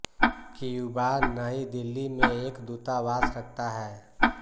Cuba New Delhi में एक दूतावास रखता है